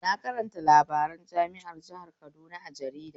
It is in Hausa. Na karanta labaran jami'ar jihar Kaduna a jarida